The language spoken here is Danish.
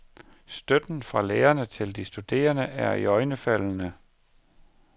Støtten fra lærerne til de studerende er iøjnefaldende.